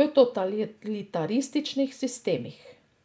v totalitarističnih sistemih.